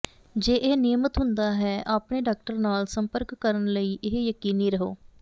ਜੇ ਇਹ ਨਿਯਮਿਤ ਹੁੰਦਾ ਹੈ ਆਪਣੇ ਡਾਕਟਰ ਨਾਲ ਸੰਪਰਕ ਕਰਨ ਲਈ ਇਹ ਯਕੀਨੀ ਰਹੋ